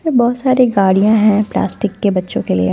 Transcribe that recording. बहोत सारी गाड़ियां हैं प्लास्टिक की बच्चो के लिए।